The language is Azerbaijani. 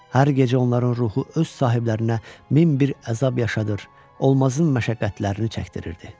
Hər gecə onların ruhu öz sahiblərinə min bir əzab yaşadır, olmazın məşəqqətlərini çəkdirirdi.